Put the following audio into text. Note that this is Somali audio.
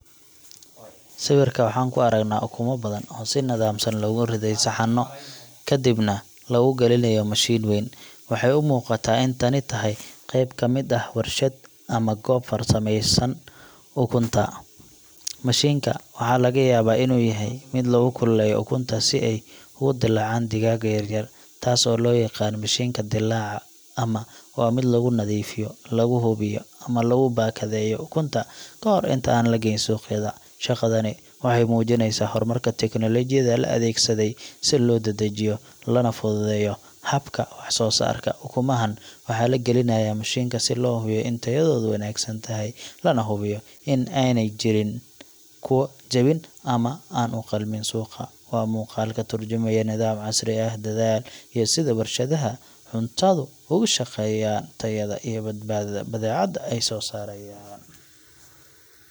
Sawirka waxaan ku aragnaa ukumo badan oo si nidaamsan loogu riday saxanno, kadibna lagu gelinayo mashiin weyn. Waxay u muuqataa in tani tahay qeyb ka mid ah warshad ama goob farsameynaysa ukunta. Mashiinka waxaa laga yaabaa inuu yahay mid lagu kululeeyo ukunta si ay uga dilaacaan digaagga yaryar taas oo loo yaqaan mishiinka dillaaca ama waa mid lagu nadiifiyo, lagu hubiyo, ama lagu baakadeeyo ukunta ka hor inta aan la geyn suuqyada. Shaqadani waxay muujinaysaa horumar iyo tignoolajiyad la adeegsaday si loo dedejiyo lana fududeeyo habka wax-soo-saarka. Ukumahaan waxaa la gelinayaa mashiinka si loo hubiyo in tayadoodu wanaagsan tahay, lana hubiyo in aanay jirin kuwa jaban ama aan u qalmin suuqa. Waa muuqaal ka tarjumaya nidaam casri ah, dadaal, iyo sida warshadaha cuntadu uga shaqeeyaan tayada iyo badbaadada badeecada ay soo saarayaan.